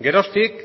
geroztik